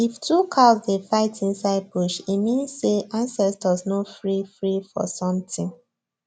if two cows dey fight inside bush e means say ancestors no free free for something